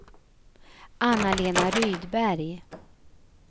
Anna-Lena Rydberg